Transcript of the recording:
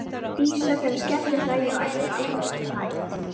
Dísa fer að skellihlæja og ætlar aldrei að geta hætt.